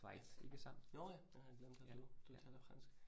Ja. Jo ja det har jeg glemt, at du du taler fransk